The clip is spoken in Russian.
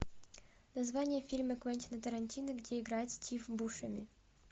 название фильма квентина тарантино где играет стив бушеми